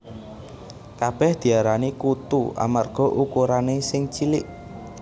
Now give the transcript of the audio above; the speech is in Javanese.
Kabèh diarani kutu amarga ukurané sing cilik